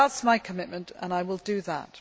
That is my commitment and I will do that.